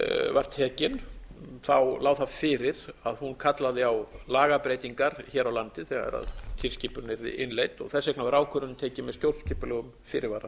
var tekin lá það fyrir að hún kallaði á lagabreytingar hér á landi þegar tilskipun yrði innleidd þess vegna var ákvörðun tekin með stjórnskipulegum fyrirvara